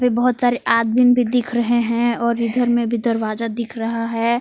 बहोत सारे आदमीन भी दिख रहे हैं और इधर में भी दरवाजा दिख रहा है।